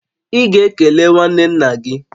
Ị ga-ekele nwanne nna gị!